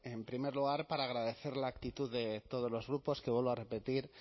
en primer lugar para agradecer la actitud de todos los grupos que vuelvo a repetir